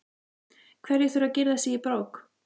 Hverjir þurfa að girða sig í brók?